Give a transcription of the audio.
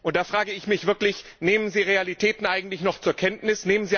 Da frage ich mich wirklich Nehmen Sie Realitäten eigentlich noch zur Kenntnis?